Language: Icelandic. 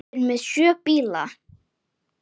Við erum með sjö bíla.